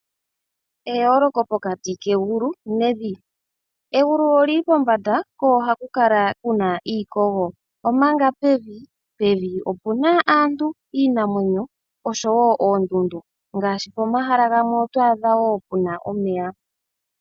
Eyoloko pokati kegulu nevi .Egulu oli li pombanda, ko ohaku kala kuna iikogo, omanga pevi opu na aantu, iinamwenyo oshowo oondundu ngaashi pomahala gamwe otwadha wo pe na omeya.